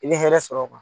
I bɛ hɛrɛ sɔrɔ